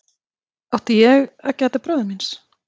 Átti ég að gæta bróður míns?